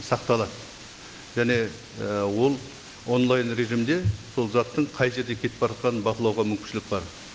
сақталады және і ол онлайн режимде сол заттың қай жерде кетіп бара жатқанын бақылауға мүмкіншілік бар